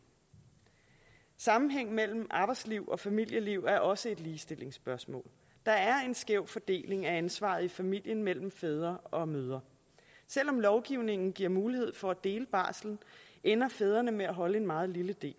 sammenhængen mellem arbejdsliv og familieliv er også et ligestillingsspørgsmål der er en skæv fordeling af ansvaret i familien mellem fædre og mødre selv om lovgivningen giver mulighed for at dele barslen ender fædrene med at holde en meget lille del